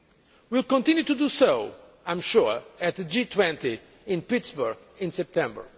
We will continue to do so, I am sure, at the G20 in Pittsburgh in September.